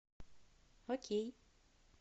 окей